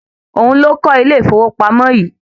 Òun ló kọ́ ilé ìfowópamọ̀ yìí